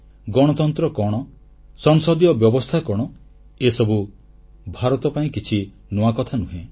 ଗଣତନ୍ତ୍ର କଣ ସଂସଦୀୟ ବ୍ୟବସ୍ଥା କଣ ଏସବୁ ଭାରତ ପାଇଁ କିଛି ନୂଆ କଥାନୁହେଁ